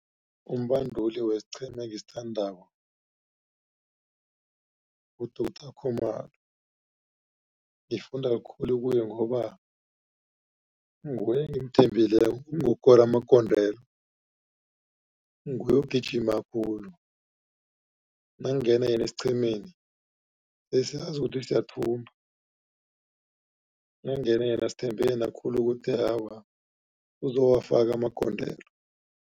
Umbanduli wesiqhema engisithandako nguDoctor Khumalo. Ngifunda khulu kuye ngoba nguye engimthembileko ngokukora amagondelo. Nguye ogijima khulu makungena yena esiqhemeni besazi ukuthi siyathumba nakungene yena sithembe yena khulu ukuthi awa uzowafaka amagondelo.